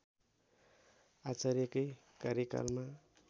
आचार्यकै कार्यकालमा